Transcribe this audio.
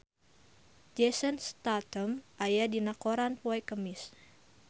Jason Statham aya dina koran poe Kemis